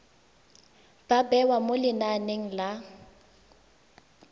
ba bewa mo lenaneng la